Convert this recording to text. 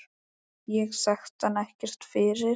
Ég þekkti hann ekkert fyrir.